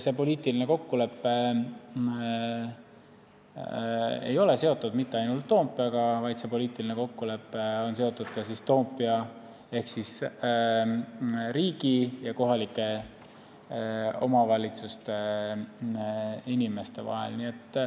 See poliitiline kokkulepe ei ole seotud mitte ainult Toompeaga, vaid see peab olema Toompea ehk riigi ja kohalike omavalitsuste inimeste vahel.